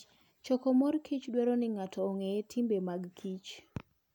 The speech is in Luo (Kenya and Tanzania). Choko mor kich dwaro ni ng'ato ong'e timbe mag kich.